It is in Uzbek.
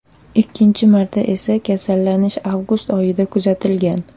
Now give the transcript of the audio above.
Ikkinchi marta esa kasallanish avgust oyida kuzatilgan.